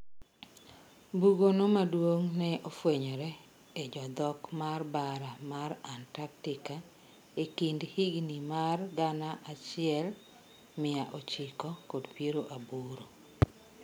Bugo no maduong ne ofwenyore e jodhok mar bara mar Antarctica e kind higni mar gana achiel mia ochiko kod piero aboro.